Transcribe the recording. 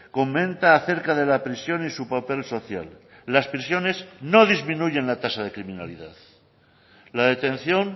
comenta acerca de la prisión y su papel social las prisiones no disminuyen la tasa de criminalidad la detención